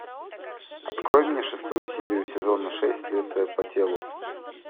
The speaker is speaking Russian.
открой мне шестую серию сезона шесть следствие по телу